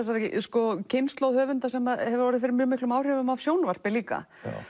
kynslóð höfunda sem hef orðið fyrir áhrifum af sjónvarpi líka